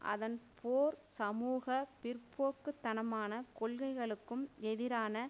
அதன் போர் சமூக பிற்போக்கு தனமான கோள்கைகளுக்கும் எதிரான